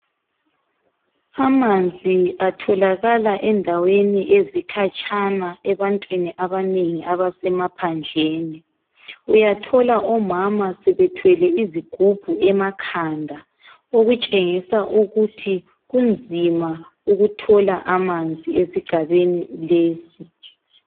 Amanzi atholakala endaweni ezikhatshana ebantwini abanengi abasemaphandleni. Uyathola omama sebethwele izigubhu emakhanda, okutshengisa ukuthi kunzima ukuthola amanzi esigabeni lesi.